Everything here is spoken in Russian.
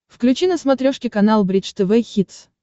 включи на смотрешке канал бридж тв хитс